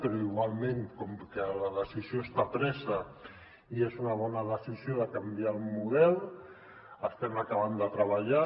però igualment com que la decisió està presa i és una bona decisió de canviar el model hi estem acabant de treballar